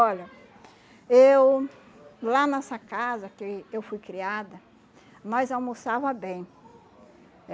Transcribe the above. Olha, eu, lá nessa casa que eu fui criada, nós almoçava bem.